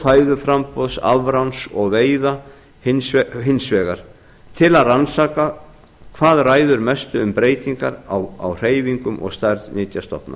fæðuframboðs afráns og veiða hins vegar til að rannsaka hvað ræður mestu um breytingar á hreyfingum og stærð nytjastofna